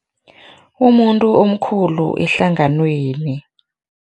Umuntu omkhulu ehlanganweni.